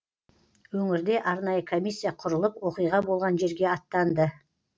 өңірде арнайы комиссия құрылып оқиға болған жерге аттанды